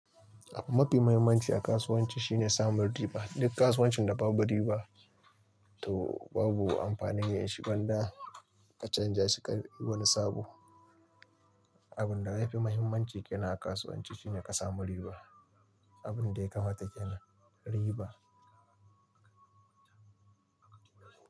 Abun mafi muhimmanci a kasuwanci shine samun riba. Duk kasuwancin da babu riba to babu amfani yin shi, gwanda ka canja shi ka yi wani sabo. Abin da yafi muhimmanci kena a kasuwanci shine ka samu riba. Abin da ya kamata kena riba.